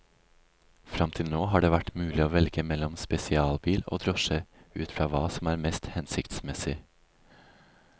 Frem til nå har det vært mulig å velge mellom spesialbil og drosje, ut fra hva som er mest hensiktsmessig.